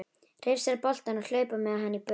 Hrifsa boltann og hlaupa með hann í burtu.